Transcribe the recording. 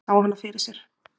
Sá hana fyrir sér.